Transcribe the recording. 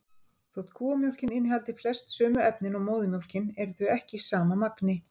Þótt kúamjólkin innihaldi flest sömu efnin og móðurmjólkin eru þau ekki í sama magni.